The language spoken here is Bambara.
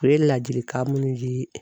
U ye ladilikan minnu di